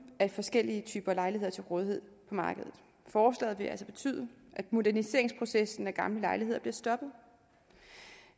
af forskellige typer lejligheder til rådighed på markedet forslaget vil altså betyde at moderniseringsprocessen af gamle lejligheder bliver stoppet